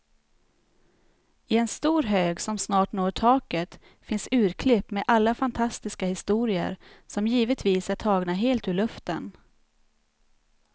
I en stor hög som snart når taket finns urklipp med alla fantastiska historier, som givetvis är tagna helt ur luften.